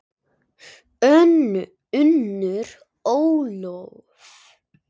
Unnur Ólöf.